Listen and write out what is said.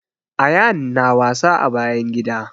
Ayaan na wasa a bayan gida